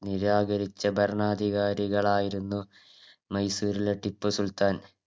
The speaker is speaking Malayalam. നിരാകരിച്ച ഭരണാധികാരികളായിരുന്നു മൈസൂരിലെ ടിപ്പു സുൽത്താൻ